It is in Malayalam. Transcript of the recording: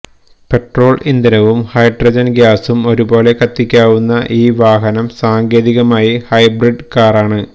പെട്രോള് ഇന്ധനവും ഹൈഡ്രജന് ഗാസും ഒരുപോലെ കത്തിക്കാവുന്ന ഈ വാഹനം സാങ്കേതികമായി ഹൈബ്രിഡ് കാറാണ്